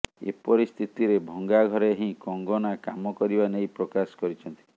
ଏପରି ସ୍ଥିତିରେ ଭଙ୍ଗା ଘରେ ହିଁ କଙ୍ଗନା କାମ କରିବା ନେଇ ପ୍ରକାଶ କରିଛନ୍ତି